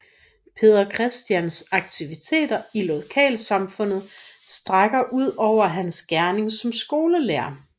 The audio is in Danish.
Peder Christians aktiviteter i lokalsamfundet strækker udover hans gerning som skolelærer